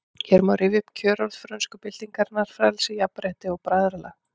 Hér má rifja upp kjörorð frönsku byltingarinnar: Frelsi, jafnrétti, bræðralag